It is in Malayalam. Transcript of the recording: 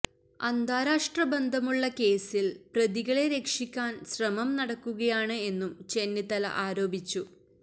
അന്താരാഷ്ട്ര ബന്ധമുള്ള കേസിൽ പ്രതികളെ രക്ഷിക്കാൻ ശ്രമം നടക്കുകയാണ് എന്നും ചെന്നിത്തല ആരോപിച്ചു